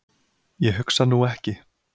Ég hugsa nú ekki.